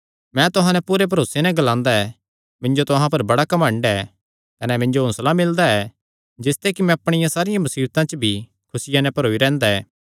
मैं तुहां नैं पूरे भरोसे नैं ग्लांदा ऐ मिन्जो तुहां पर बड़ा घमंड ऐ कने मिन्जो हौंसला मिलदा ऐ जिसते कि मैं अपणिया सारी मुसीबता च भी खुसिया नैं भरोई रैंह्दा ऐ